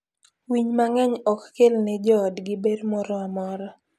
Winy mang'eny ok kel ne joodgi ber moro amora.